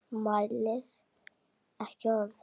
Mælir ekki orð.